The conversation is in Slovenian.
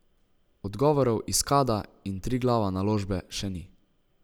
Odgovorov iz Kada in Triglava Naložbe še ni.